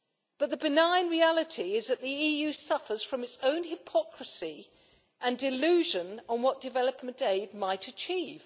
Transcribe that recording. But the benign reality is that the EU suffers from its own hypocrisy and delusion on what development aid might achieve.